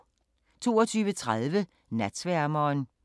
22:30: Natsværmeren